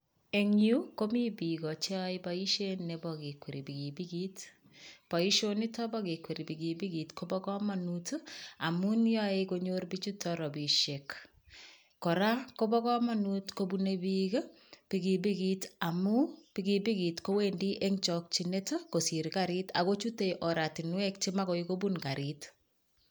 Eng yu, komi bik cheyoe boisiet nebo kekweri pikipikit. Boisionito bo kekweri pikipikit, koba kamanut ii amun yae konyor pichuton rapisiek. Kora koba kamanut kopune pik ii pikipikit amun pikipikit kowendi eng chokchinet kosir karit ago chute oratinwek che magoi kobun karit.